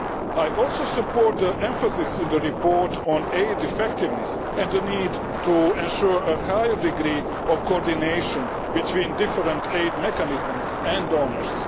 ODA. I also support the emphasis in the report on aid effectiveness and the need to ensure a higher degree of coordination between different aid mechanisms and donors.